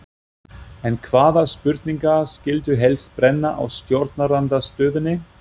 En hvaða spurningar skyldu helst brenna á stjórnarandstöðunni?